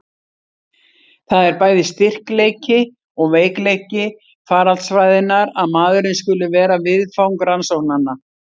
Það er bæði styrkleiki og veikleiki faraldsfræðinnar að maðurinn skuli vera viðfang rannsóknanna.